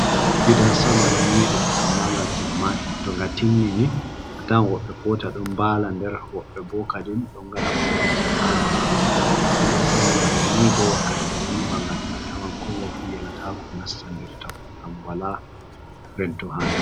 Gidan sama ɗon nyiɓe amma ga timmai to nga timmini a tawan woɓɓe kota ɗon mbala nder, woɓɓe bo kadim ɗon ngada ofise je ha nder, to gidan sama bana ni bo wakkati ɓe ɗon nyiɓa ngani a tawan komoi jo fu yelatako nasta nder ton ngam wala rento ha nder.